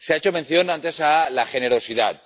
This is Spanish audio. Se ha hecho mención antes a la generosidad.